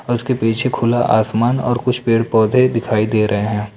और उसके पीछे खुला आसमान और कुछ पेड़ पौधे दिखाई दे रहे हैं।